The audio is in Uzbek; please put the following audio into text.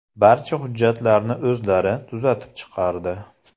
Barcha hujjatlarni o‘zlari tuzatib chiqardi.